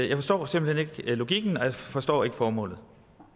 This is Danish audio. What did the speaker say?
jeg forstår simpelt hen ikke logikken og jeg forstår ikke formålet